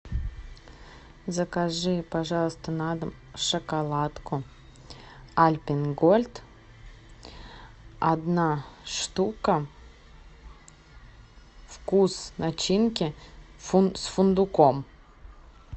закажи пожалуйста на дом шоколадку альпен гольд одна штука вкус начинки с фундуком